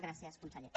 gràcies conseller